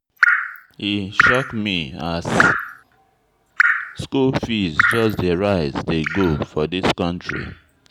E shock me as skool fees just dey rise dey go for dis country.